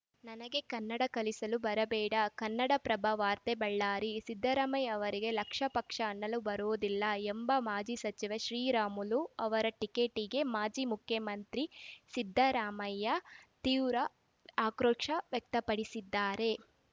ನನಗೆ ಕನ್ನಡ ಕಲಿಸಲು ಬರಬೇಡ ಕನ್ನಡಪ್ರಭ ವಾರ್ತೆ ಬಳ್ಳಾರಿ ಸಿದ್ದರಾಮಯ್ಯ ಅವರಿಗೆ ಲಕ್ಷಪಕ್ಷ ಅನ್ನಲೇ ಬರೋದಿಲ್ಲ ಎಂಬ ಮಾಜಿ ಸಚಿವ ಶ್ರೀರಾಮುಲು ಅವರ ಟೀಕೆಟೀಗೆ ಮಾಜಿ ಮುಖ್ಯಮಂತ್ರಿ ಸಿದ್ದರಾಮಯ್ಯ ತೀವ್ರ ಆಕ್ರೋಶ ವ್ಯಕ್ತಪಡಿಸಿದ್ದಾರೆ